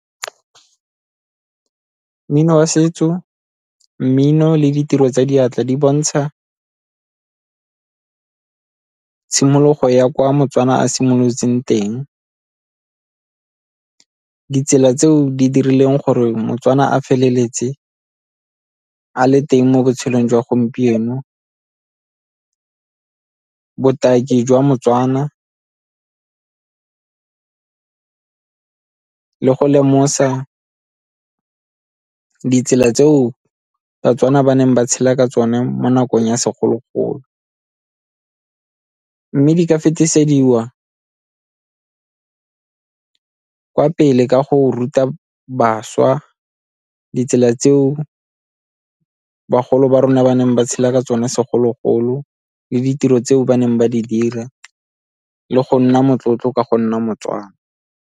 Mmino wa setso, mmino le ditiro tsa diatla di bontsha tshimologo ya kwa moTswana a simolotseng teng, ditsela tseo di dirileng gore moTswana a feleletse a le teng mo botshelong jwa gompieno, botaki jwa moTswana le go lemosa ditsela tseo baTswana ba neng ba tshela ka tsone mo nakong ya segologolo. Mme di ka fetisediwa kwa pele ka go ruta bašwa ditsela tseo bagolo ba rona ba neng ba tshela ka tsone segologolo le ditiro tseo ba neng ba di dira le go nna motlotlo ka go nna moTswana.